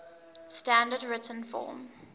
standard written form